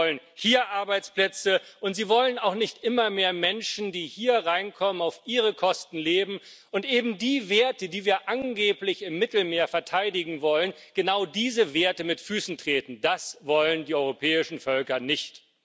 Sie wollen hier Arbeitsplätze, und sie wollen auch nicht immer mehr Menschen, die hier reinkommen, auf ihre Kosten leben und eben die Werte, die wir angeblich im Mittelmeer verteidigen wollen, genau diese Werte mit Füßen treten. Das wollen die europäischen Völker nicht.